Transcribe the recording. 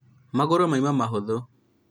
magũrũ mauma mahũthũ